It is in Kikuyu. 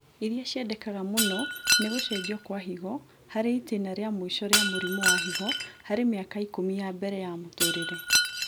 irĩa ciendekanaga mũno nĩ gũcenjio gwa higo harĩ itĩna rĩa mũico rĩa mũrimũ wa higo harĩ mĩaka ikũmi ya mbere ya mũtũrĩre